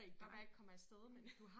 Plejer ikke at komme af sted men øh